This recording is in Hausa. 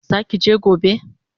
Zaki je gobe?